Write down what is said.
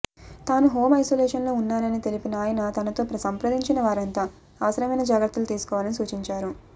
తాను హోం ఐసొలేషన్లో ఉన్నాని తెలిపిన ఆయన తనతో సంప్రదించిన వారంతా అవసరమైన జాగ్రత్తలు తీసుకోవాలని సూచించారు